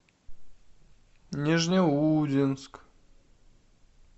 нижнеудинск